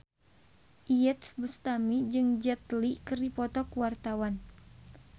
Iyeth Bustami jeung Jet Li keur dipoto ku wartawan